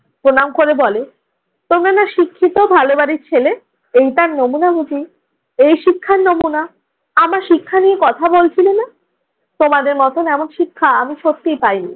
প্রণাম করে বলে, তোমরা না শিক্ষিত, ভালো বাড়ির ছেলে। এই তার নমুনা বুঝি? এই শিক্ষার নমুনা? আমার শিক্ষা নিয়ে কথা বলছিলে না? তোমাদের মতন এমন শিক্ষা আমি সত্যিই পাইনি।